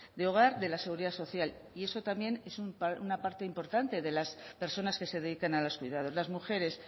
de hogar de la seguridad social y eso también es una parte importante de las personas que se dedican a los cuidados las mujeres